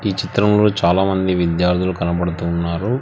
ఈ చిత్రంలో చాలామంది విద్యార్థులు కనబడుతున్నారు.